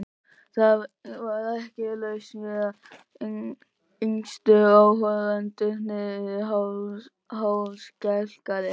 Það var ekki laust við að yngstu áhorfendurnir yrðu hálfskelkaðir.